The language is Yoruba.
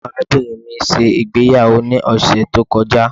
Arabinrin mi ṣe igbeyawo ni ọsẹ to kọja